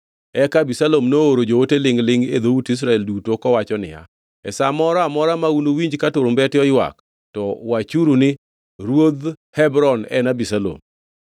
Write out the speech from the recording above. Eka Abisalom nooro joote lingʼ-lingʼ e dhout Israel duto kowacho niya, “E sa moro amora ma unuwinj ka turumbete oywak, to wachuru ni, ‘Ruodh Hebron, en Abisalom.’ ”